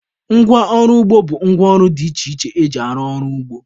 Ngwa ọrụ ugbo bụ ngwa ọrụ dị iche iche eji arụ ọrụ n'ugbo.